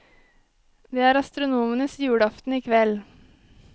Det er astronomenes julaften i kveld.